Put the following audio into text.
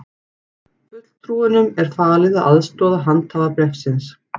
Fulltrúunum er falið að aðstoða handhafa bréfsins